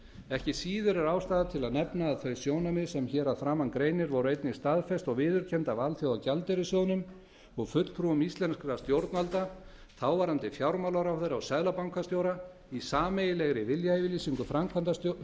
ekki síður er ástæða til að nefna að þau sjónarmið sem hér að framan greinir voru einnig staðfest og viðurkennd af alþjóðagjaldeyrissjóðnum og fulltrúum íslenskra stjórnvalda þáverandi fjármálaráðherra og seðlabankastjóra í sameiginlegri viljayfirlýsingu